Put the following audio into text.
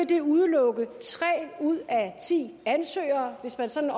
det udelukke tre ud af ti ansøgere og hvis man sådan